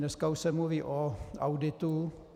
Dneska už se mluví o auditu.